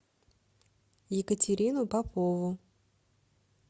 екатерину попову